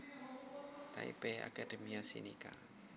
Taipei Academia Sinica